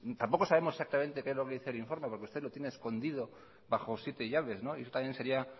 tampoco sabemos exactamente qué es lo que dice el informe porque usted lo tiene escondido bajo siete llaves y eso también sería